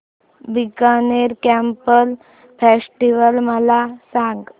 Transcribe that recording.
Bikaner camel festival मला सांग